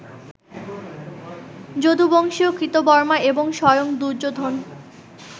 যদুবংশীয় কৃতবর্মা এবং স্বয়ং দুর্যোধন